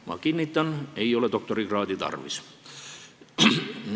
Ma kinnitan: ei ole doktorikraadi tarvis.